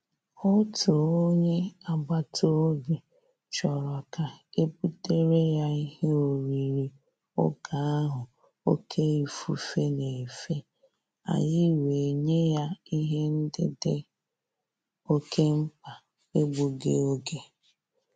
Òtù ónyé ágbàtàòbì chọrọ ka e butere ya ìhè órírí ògè ahụ òké ífùfé na-efe, ànyị́ wèé nyé yá ìhè ndị́ dì òké mkpá n’égbúghị́ ògè.